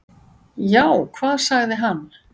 """Já, hvað sagði hann?"""